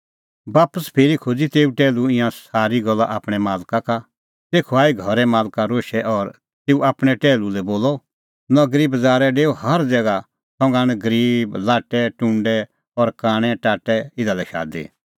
बापस फिरी खोज़ी तेऊ टैहलू ईंयां सारी गल्ला आपणैं मालक का तेखअ आई घरे मालक रोशै और तेऊ आपणैं टैहलू लै बोलअ नगरीए बज़ारै डेऊ हर ज़ैगा संघा आण गरीब लाट्टैटुंडै और कांणै टाट्टै इधा लै शादी